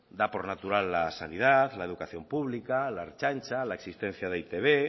da por natural la sanidad la educación pública la ertzaintza la existencia de e i te be